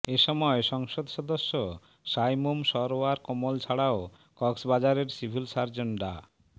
এসময় সংসদ সদস্য সাইমুম সরওয়ার কমল ছাড়াও কক্সবাজারের সিভিল সার্জন ডা